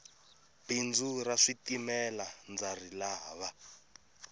bindzu ra switimela ndza rilava